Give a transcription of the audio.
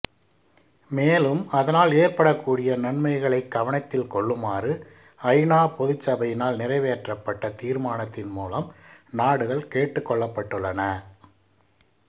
மேலும் அதனால் ஏற்படக்கூடிய நன்மைகளைக் கவனத்தில் கொள்ளுமாறு ஐ நா பொதுச் சபையினால் நிறைவேற்றப்பட்ட தீா்மானத்தின் மூலம் நாடுகள் கேட்டுக்கொள்ளப்பட்டுள்ளன